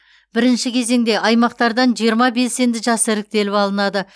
бірінші кезеңде аймақтардан жиырма белсенді жас іріктеліп алынады